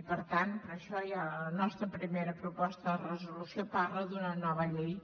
i per tant per això la nostra primera proposta de resolució parla d’una nova llei